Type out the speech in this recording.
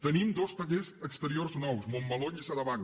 tenim dos tallers exteriors nous montmeló i lliçà de vall